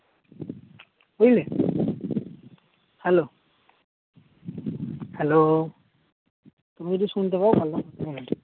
বুঝলে hello hello তুমি কিছু শুনতে পাওনা নাকি